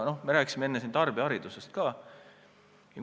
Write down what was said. Me rääkisime enne siin tarbijaharidusest ka.